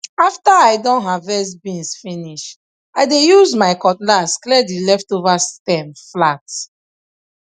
after i don harvest beans finish i dey use my cutlass clear the leftover stem flat